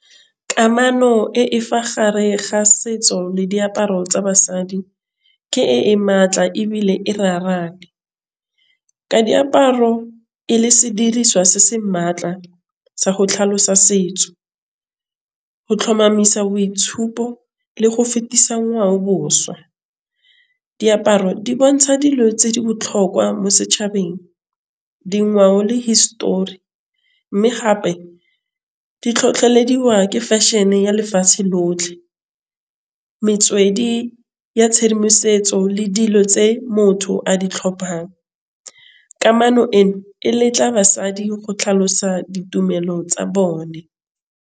Kamano e e fa gare ga setso le diaparo tsa basadi ke e e maatla ebile e raraane. Ka diaparo e le sediriswa se se maatla sa go tlhalosa setso. Go tlhomamisa boitshupo le go fetisa ngwaoboswa diaparo di bontsha dilo tse di botlhokwa mo setšhabeng dingwao le histori, mme gape di tlhotlheletsa wa ke fashion-e ya lefatshe lotlhe. Metswedi ya tshedimosetso le dilo tse motho a di tlhophang kamano eno e letla basadi go tlhalosa ditumelo tsa bone.